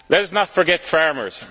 Let us not forget farmers.